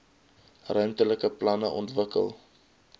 ruimtelike planne ontwikkel